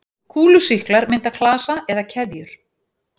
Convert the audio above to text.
Kúlusýklar mynda klasa eða keðjur.